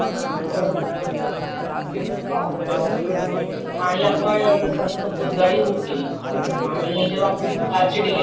काही जसं काही डेट आहे का, स्क्रेच आहे का. कारण आपण पुष्कळदा डीलिव्हरी घेऊन घेतो व्यवस्थित बघत नाही की काही झालंय का.